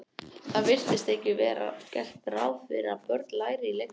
Það virðist ekki vera gert ráð fyrir að börn læri í leikskólum.